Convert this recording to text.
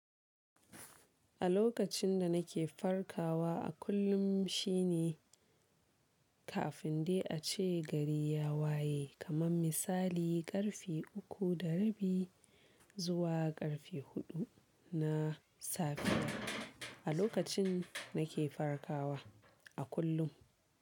A lokacin da nake farkawa a kullum shi ne kafin dai a ce gari ya waye kaman misali ƙarfe uku da rabi zuwa arfe huɗu na safiya a lokacin nake farkawa a kullum.